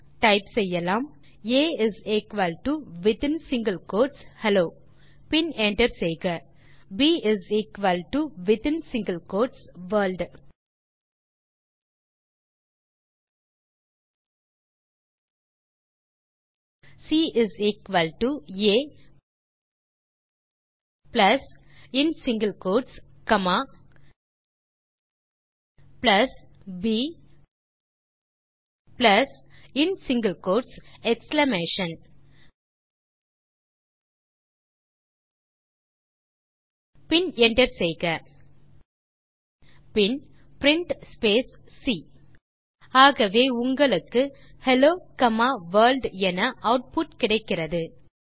ஆகவே டைப் செய்யலாம் a within single quotes hello பின் enter செய்க b within single quotes world c a plus in single quotes comma plus b plus in single quotes exclamation பின் enter செய்க பின் print c ஆகவே உங்களுக்கு hello comma world என output கிடைக்கிறது